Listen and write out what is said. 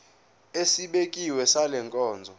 esibekiwe sale nkonzo